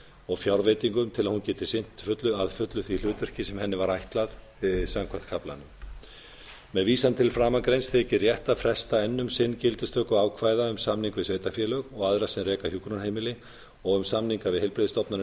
og fjárveitingum til að hún geti sinnt að fullu því hlutverki sem henni var ætlað samkvæmt kaflanum með vísan til framangreinds þykir rétt að fresta enn um sinn gildistöku ákvæða um samninga við sveitarfélög og aðra sem reka hjúkrunarheimili og um samninga við heilbrigðisstofnanir